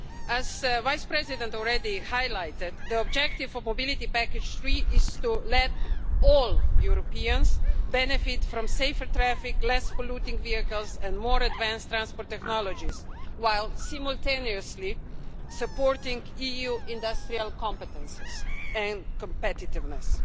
As the Vice President already highlighted, the objective of the Third Mobility Package is to let all Europeans benefit from safer traffic, less polluting vehicles and more advanced transport technologies, while simultaneously supporting EU industrial competences and competitiveness.